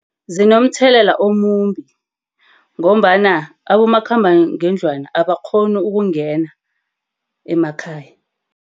Zinomthelela omumbi, ngombana abomakhambangendlwana abakghoni ukungena emakhaya.